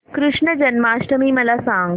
कृष्ण जन्माष्टमी मला सांग